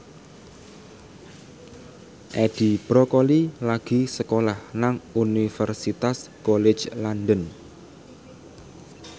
Edi Brokoli lagi sekolah nang Universitas College London